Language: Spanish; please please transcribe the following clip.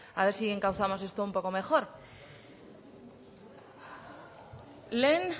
a ver si encauzamos esto un poco mejor lehen